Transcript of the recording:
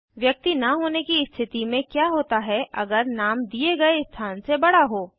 व्यक्ति न होने की स्थिति में क्या होता है अगर नाम दिए गए स्थान से बड़ा हो160